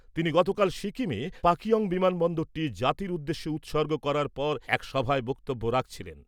তিনি গতকাল সিকিমে পাকিওঙ বিমান বন্দরটি জাতির উদ্দেশ্যে উৎসর্গ করার পর এক সভায় বক্তব্য রাখছিলেন ।